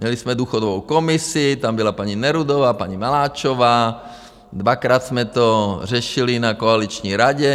Měli jsme důchodovou komisi, tam byla paní Nerudová, paní Maláčová, dvakrát jsme to řešili na koaliční radě.